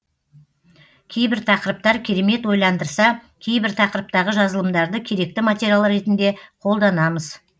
кейбір тақырыптар керемет ойландырса кейбір тақырыптағы жазылымдарды керекті материал ретінде қолданамыз